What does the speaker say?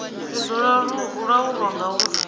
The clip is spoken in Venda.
zwi do laulwa nga uri